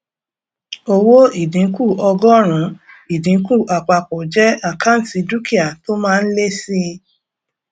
owó ìdínkù ọgọrùnún ìdínkù àpapọ jẹ àkáǹtì dúkìá tó máa ń lé síi